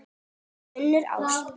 Unnur Ösp.